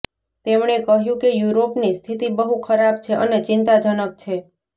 તેમણે કહ્યું કે યુરોપની સ્થિતિબહુ ખરાબ છે અને ચિંતાજનક છે